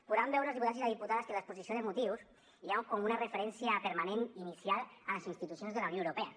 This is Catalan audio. poden veure els diputats i les diputades que a l’exposició de motius hi ha com una referència permanent inicial a les institucions de la unió europea